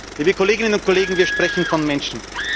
Liebe Kolleginnen und Kollegen, wir sprechen von Menschen.